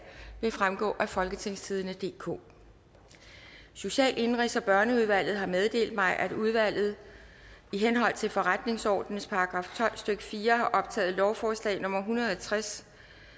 vil fremgå af folketingstidende DK social indenrigs og børneudvalget har meddelt mig at udvalget i henhold til forretningsordenens § tolv stykke fire har optaget lovforslag nummer en hundrede og tres